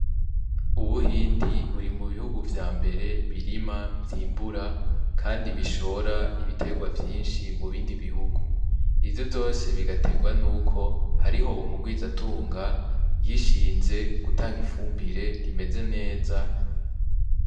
Ubuhindi buri mubihugu vyambere birima, vyimbura kandi bishora ibitegwa vyinshi mubindi bihugu ivyo vyose bigategwa nuko hariho umugwiza tunga yishinze gutanga ifumbire imeze neza.